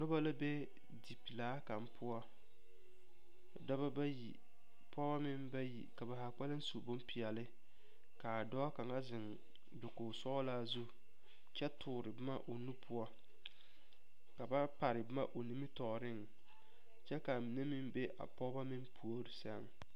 Noba la be dipelaa kaŋa poɔ daba bayi pɔge meŋ bayi ka ba zaa kpɛlem su bopeɛle ka a dɔɔ kaŋa zeŋ dakogisɔglaa zu kyɛ toɔre boma o nu poɔ ka ba pare boma o nimitɔɔreŋ kyɛ ka a mine meŋ be a pɔge puori sɛŋ.